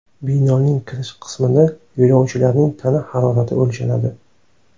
Binoning kirish qismida yo‘lovchilarning tana harorati o‘lchanadi.